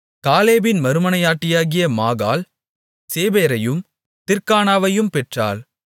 காலேபின் மறுமனையாட்டியாகிய மாகாள் சேபேரையும் திர்கானாவையும் பெற்றாள்